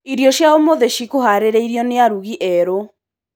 Irio cia ũmũthĩ cikũharĩrĩrio nĩ arũgi eerũ.